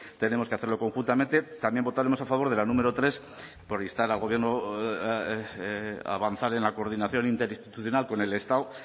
tenemos que hacerlo conjuntamente también votaremos a favor de la número tres por instar al gobierno a avanzar en la coordinación interinstitucional con el estado